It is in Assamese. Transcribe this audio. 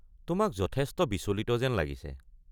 তোমাক যথেষ্ট বিচলিত যেন লাগিছে।